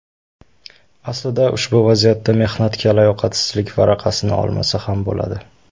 Aslida ushbu vaziyatda mehnatga layoqatsizlik varaqasini olmasa ham bo‘ladi.